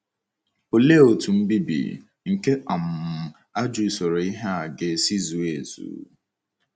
Olee otú mbibi nke um ajọ usoro ihe a ga-esi zuo ezuo?